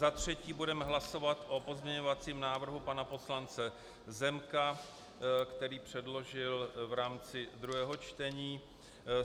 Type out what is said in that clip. Za třetí budeme hlasovat o pozměňovacím návrhu pana poslance Zemka, který předložil v rámci druhého čtení.